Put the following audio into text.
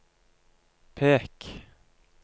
pek